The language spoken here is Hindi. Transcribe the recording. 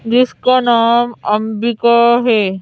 जिसका नाम अंबिका है।